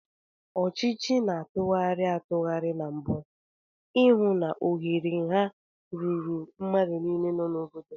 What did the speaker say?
Ọchịchị na tụgharị atụgharị na mbu, I hụ na ohere nha ruru mmadụ niile nọ n'obodo.